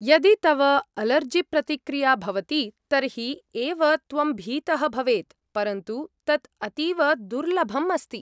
यदि तव अलर्जिप्रतिक्रिया भवति तर्हि एव त्वं भीतः भवेत्, परन्तु तत् अतीव दुर्लभम् अस्ति।